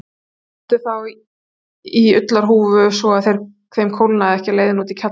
Þau settu þá í ullarhúfur svo að þeim kólnaði ekki á leiðinni út í kjallarann.